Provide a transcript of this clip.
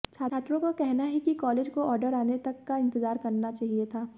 छात्रों का कहना है कि कॉलेज को ऑर्डर आने तक का इंतजार करना चाहिए था